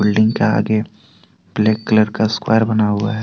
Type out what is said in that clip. Building के आगे black colour का स्क्वायर बना हुआ है।